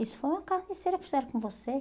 Isso foi uma carneceira que fizeram com você.